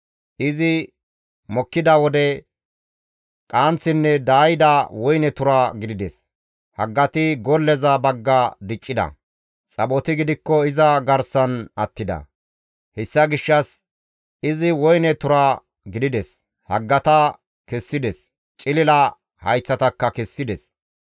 Izi mokkida wode qanththinne daayida woyne tura gidides; haggati golleza bagga diccida; xaphoti gidikko iza garsan attida; hessa gishshas izi woyne tura gidides; haggata kessides; cilila hayththatakka kessides.